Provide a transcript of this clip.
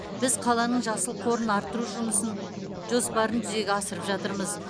біз қаланың жасыл қорын арттыру жоспарын жүзеге асырып жатырмыз